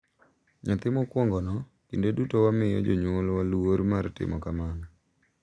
nyathi mokwongono, kinde duto wamiyo Jonyuolwa luor mar timo kamano.